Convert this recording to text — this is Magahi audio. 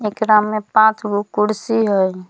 एकरा मे पाँचगो कुर्सी हई।